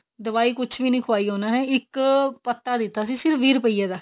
ਦਵਾਈ ਕੁੱਝ ਵੀ ਨਹੀ ਖਵਾਈ ਉਹਨਾ ਨੇ ਇੱਕ ਪੱਤਾ ਦਿੱਤਾ ਸੀ ਸਿਰਫ਼ ਵੀਹ ਰੁਪੀਏ ਦਾ